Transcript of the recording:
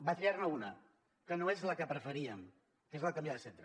va triar ne una que no és la que preferíem que és la de canviar de centre